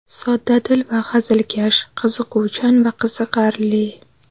Soddadil va hazilkash, qiziquvchan va qiziqarli.